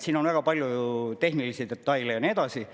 Siin on väga palju ju tehnilisi detaile ja nii edasi.